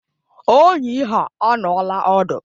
Ọyi ha anọọla ọdu